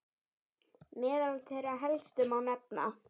Meðal þeirra helstu má nefna